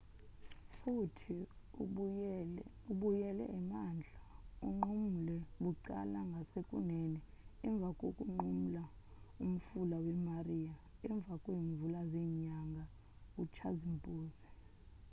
futhi ubuyele emantla unqumule bucala ngasekunene emva konqumula umfula we-maria emva kweemvula zenyanga utshazimpuzi